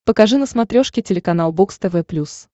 покажи на смотрешке телеканал бокс тв плюс